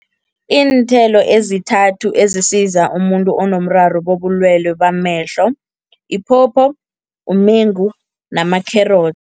Iinthelo ezithathu ezisiza umuntu onomraro bobulwelwe bamehlo, iphopho, umengu namakherotsi.